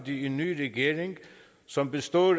en ny regering som består af